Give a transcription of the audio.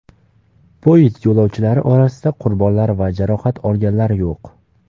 Poyezd yo‘lovchilari orasida qurbonlar va jarohat olganlar yo‘q.